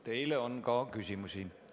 Teile on ka küsimusi.